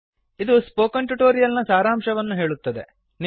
ಇದು spoken tutorial ನ ಸಾರಾಂಶವನ್ನು ಹೇಳುತ್ತದೆ